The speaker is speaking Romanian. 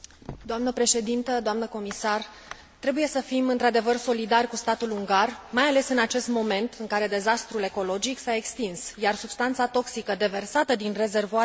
Trebuie să fim într adevăr solidari cu statul ungar, mai ales în acest moment în care dezastrul ecologic s a extins, iar substanța toxică deversată din rezervoarele uzinei a ajuns deja în apele Dunării.